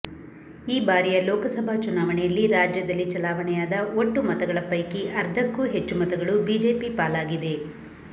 ಈ ಬಾರಿಯ ಲೋಕಸಭಾ ಚುನಾವಣೆಯಲ್ಲಿ ರಾಜ್ಯದಲ್ಲಿ ಚಲಾವಣೆಯಾದ ಒಟ್ಟು ಮತಗಳ ಪೈಕಿ ಅರ್ಧಕ್ಕೂ ಹೆಚ್ಚು ಮತಗಳು ಬಿಜೆಪಿ ಪಾಲಾಗಿವೆ